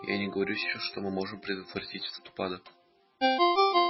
я и не говорю сейчас что мы можем предотвратить этот упадок